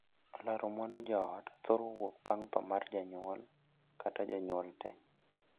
Laro mwandu joot thoro wuok bang' thoo mar janyuol kata jonyuol tee.